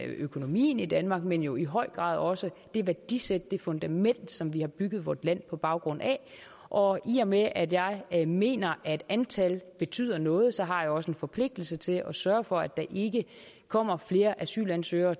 økonomien i danmark men jo i høj grad også det værdisæt det fundament som vi har bygget vort land på baggrund af og i og med at jeg jeg mener at antallet betyder noget så har jeg også en forpligtelse til at sørge for at der ikke kommer flere asylansøgere